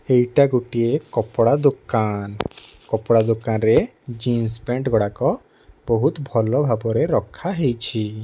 ଏହା ଗୋଟିଏକପଡା ଦୋକାନ। କପଡାଦୋକାନରେ ଜିନିଷ ପ୳୲ଣ୍ଟ ଗୁଡାକ ଭଲଭାବରେ ରଖାଯାଇଛି।